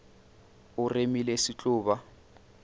o remile se tlo ba